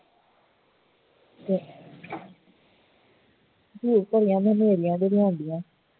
ਫੇਰ ਨੇਰ੍ਹਿਆਂ ਬੜੀਆਂ ਹੁੰਦੀ ਹੈ